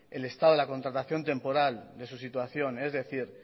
el estado de la contratación temporal de su situación es decir